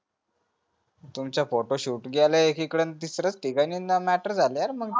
तुमचा photo shoot गेला एकी कडे आन तिसऱ्याच ठिकाणी न matter जाला यार मग